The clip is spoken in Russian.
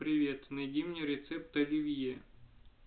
привет найди мне рецепт оливье